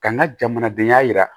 Ka n ka jamanadenya yira